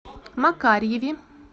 макарьеве